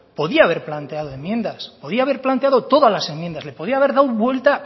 podría haber planteado enmiendas podía haber planteado todas las enmiendas le podía haber dado vuelta